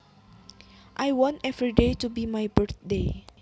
I want everyday to be my birthday